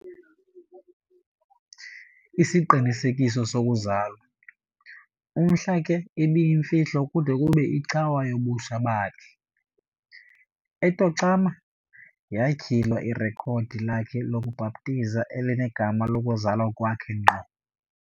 isiqinisekiso sokuzalwa, umhla, ke, ibiyimfihlo kude kube, icawa, yobutsha bakhe, e-Tacoma, yatyhila irekhodi lakhe lokubhaptiza elinegama lokuzalwa kwakhe ngqo.